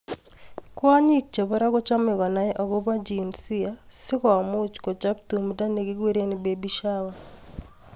Kwanyik chebo ra kochome konai agobo jinsia si komuch kochop tumdo nekikure Baby Shower